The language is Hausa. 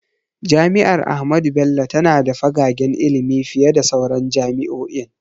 Jami’ar Ahmadu Bello tana da fagagen ilimi fiye da sauran jami’o’in.